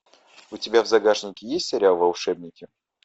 у тебя в загашнике есть сериал волшебники